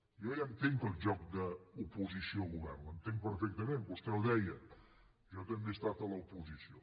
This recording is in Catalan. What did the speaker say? jo ja entenc el joc d’oposició govern l’entenc perfectament vostè ho deia jo també he estat a l’oposició